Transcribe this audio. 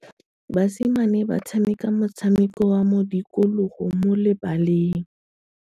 Basimane ba tshameka motshameko wa modikologô mo lebaleng.